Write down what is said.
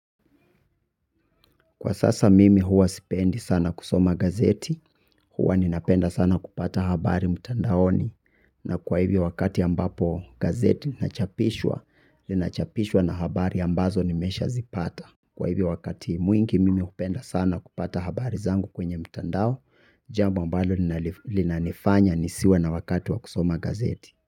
Kwa sasa mimi huwa sipendi sana kusoma gazeti huwa ninapenda sana kupata habari mtandaoni na kwa hivyo wakati ambapo gazeti linachapishwa linachapishwa na habari ambazo nimeshazipata. Kwa hivyo wakati mwingi mimi hupenda sana kupata habari zangu kwenye mtandao jambo ambalo lina nifanya nisiwe na wakati wa kusoma gazeti.